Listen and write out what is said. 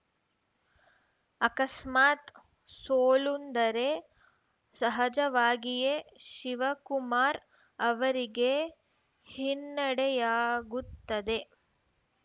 ಅಕಸ್ಮಾತ್‌ ಸೋಲುಂಡರೆ ಸಹಜವಾಗಿಯೇ ಶಿವಕುಮಾರ್‌ ಅವರಿಗೆ ಹಿನ್ನಡೆಯಾಗುತ್ತದೆ